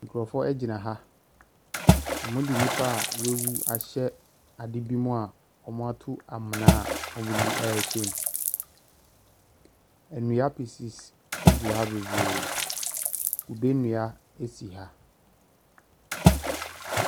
Nkorofoɔ ɛgyina, ɔmo de nnipa a wawu ahyɛ ade bi mu a ɔmo atu amena a ɔmo de ɛɛhyɛ mu. Ɛnnua pis pis ɛgu ha bebree, kube nnua ɛsi ha.